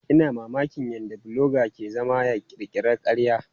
Ina mamakin yadda bloga ke zama ya ƙirƙira ƙarya.